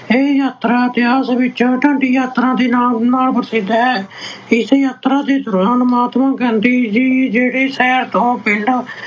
ਇਹ ਯਾਤਰਾ ਇਤਿਹਾਸ ਵਿੱਚ ਡਾਂਡੀ ਯਾਤਰਾ ਦੇ ਨਾਂ ਨਾਲ ਪ੍ਰਸਿੱਧ ਹੈ। ਇਸ ਯਾਤਰਾ ਦੇ ਦੌਰਾਨ ਮਹਾਤਮਾ ਗਾਂਧੀ ਜੀ ਜਿਹੜੇ ਸ਼ਹਿਰ ਤੋਂ ਪਿੰਡ